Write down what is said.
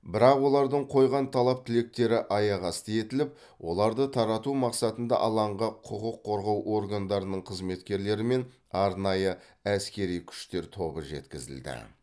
бірақ олардың қойған талап тілектері аяқ асты етіліп оларды тарату мақсатында алаңға құқық қорғау органдарының қызметкерлері мен арнайы әскери күштер тобы жеткізілді